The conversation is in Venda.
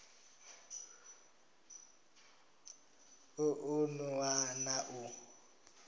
u ṱun ḓwa na u